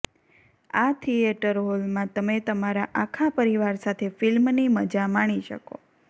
આ થિએટર હોલમાં તમે તમારા આખા પરિવાર સાથે ફિલ્મની મજા માણી શકો